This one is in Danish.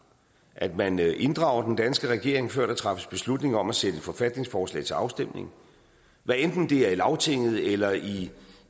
at man inddrager den danske regering før der træffes beslutning om at sætte et forfatningsforslag til afstemning hvad enten det er i lagtinget eller i